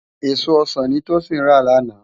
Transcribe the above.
Ésó ọsan ni Tosin rá làná